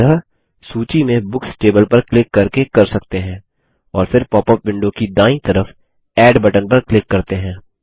हम यह सूची में बुक्स टेबल पर क्लिक करके कर सकते हैं और फिर पॉपअप विंडो की दायीं तरफ एड बटन पर क्लिक करते हैं